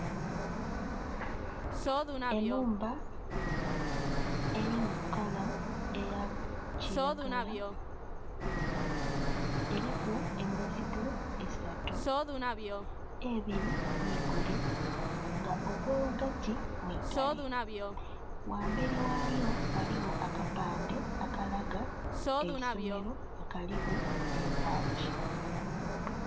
Enhumba eri mu kala eya kilagala eriku emizigo esatu, ebiri migule nga ogwo ghagati mwigale nga ghamberi ghayo ghaligho akapandhe akalaga eisomero nga kaliku nhe bbagi.